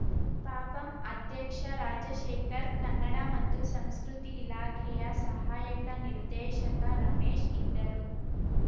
ಪಪಂ ಅಧ್ಯಕ್ಷ ರಾಜಶೇಖರ್‌ ಕನ್ನಡ ಮತ್ತು ಸಂಸ್ಕೃತಿ ಇಲಾಖೆಯ ಸಹಾಯಕ ನಿರ್ದೇಶಕ ರಮೇಶ್‌ ಇದ್ದರು